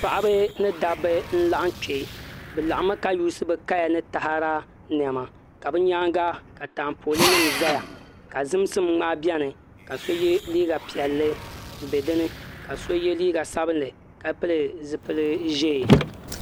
Paɣaba ni dabba n laɣam kpɛ bi laɣammi ka yuusi bi kaya ni taada niɛma ka bi nyaanga ka taapooli nim ʒɛya ka zimsim ŋmaa biɛni ka so yɛ liiga piɛlli n bɛ dinni ka so yɛ liiga sabinli ka pili zipili ʒiɛ